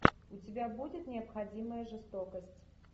у тебя будет необходимая жестокость